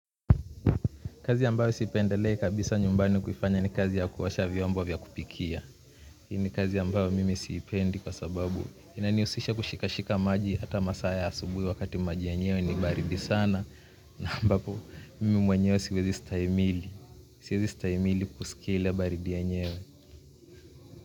Kazi ambayo sipendeli kabisa nyumbani kufanya ni kazi ya kuosha vyombo vya kupikia. Hii ni kazi ambayo mimi sipendi kwa sababu inanihusisha kushika shika maji hata masaa ya asubuhi wakati maji yenyewe ni baridi sana. Na ambapo mimi mwenyewe siwezi stahimili. Siwezi stahimili kusikia ile baridi yenyewe.